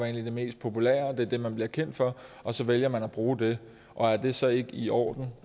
er det mest populære og det er det man bliver kendt for og så vælger man at bruge det og er det så ikke i orden